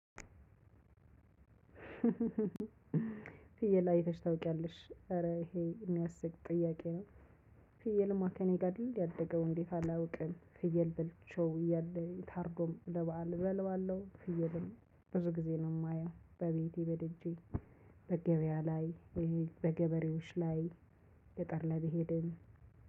ፍየል አይተሽ ታውቂያለሽ ኧረ ይሄ የሚያስቅ ጥያቄ ነው። ፍየል እማ ከኔ ጋር አይደል ያደገው እንዴት? አላቅም ፍየል በልቸው እያለ ታርዶ ለበአል እበለዋለሁ። ፍየልም ብዙ ጊዜ ነው የማየው በቤቴ በደጄ በገበያ ላይ በገበሬዎች ላይ ገጠር ላይ በሄድን